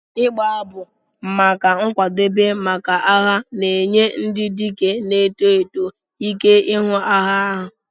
"Ịgbu abụ maka nkwadebe maka agha na-enye ndị dike na-eto eto ike ihu agha ahụ.